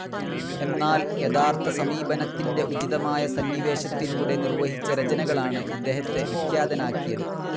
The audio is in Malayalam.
എന്നാൽ യഥാതഥ സമീപനത്തിന്റെ ഉചിതമായ സന്നിവേശത്തിലൂടെ നിർവഹിച്ച രചനകളാണ് ഇദ്ദേഹത്തെ വിഖ്യാതനാക്കിയത്.